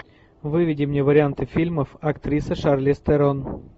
выведи мне варианты фильмов актриса шарлиз терон